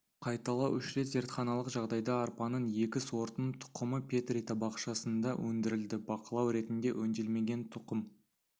қайталау үш рет зертханалық жағдайда арпаның екі сортының тұқымы петри табақшасында өндірілді бақылау ретінде өңделмеген тұқым